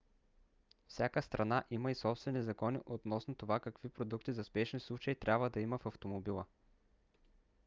всяка страна има и собствени закони относно това какви продукти за спешни случаи трябва да има в автомобила